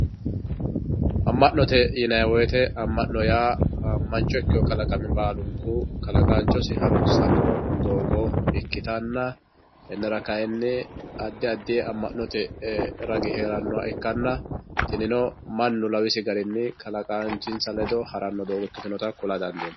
amma'note yinayi wooyiite amma'no yaa mancho ikkiyoo kalaqami baalunku kalaqaanchosi harrunsanno doogo ikkitanna tennera kayiini addi addi amma'note ragi heerannoha ikkanna tinino mannu lawisi garinni kalaqaanchinsa ledo haranno doogo ikkitinota kula dandiinaye.